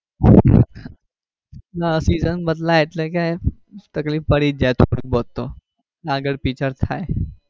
ના season બદલાય એટલે કે તકલીફ પડી જ જાય થોડી બહોત તો આગળ પછીથાય.